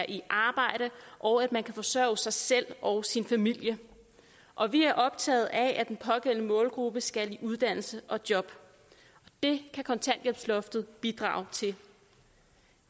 i arbejde og at man kan forsørge sig selv og sin familie og vi er optaget af at den pågældende målgruppe skal i uddannelse og job det kan kontanthjælpsloftet bidrage til